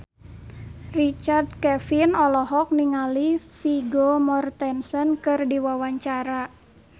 Richard Kevin olohok ningali Vigo Mortensen keur diwawancara